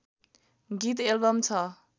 गीत एल्बम छ